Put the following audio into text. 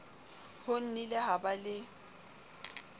ho nnile ha ba le